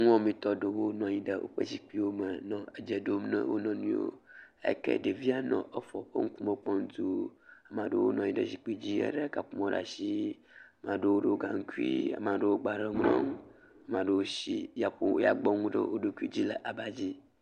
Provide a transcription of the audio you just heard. Nuwɔamitɔ aɖewo nɔ anyi ɖe woƒe zikpiwome nɔ adze ɖom na wo nɔ nɔewo eyi ke ɖevia nɔ efoa ƒe ŋkume kpɔm dũuu. Ame aɖewo nɔ anyi ɖe zikpidzi elé kaƒomɔ̃ ɖe ashii, maa ɖewo ɖɔ gaŋkuii, maa ɖewo gbalẽ xlẽm, maa ɖewo shi yaƒo, yagbɔŋu ɖe wo ɖokui dzi le abadzi.